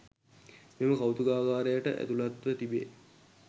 මෙම කෞතුකාගාරයට ඇතුළත්ව තිබේ.